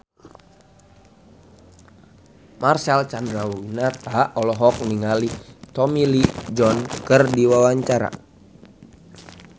Marcel Chandrawinata olohok ningali Tommy Lee Jones keur diwawancara